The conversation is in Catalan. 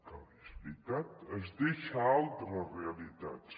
que és veritat es deixa altres realitats